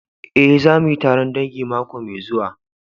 Eh, za mu yi taron dangi mako mai zuwa.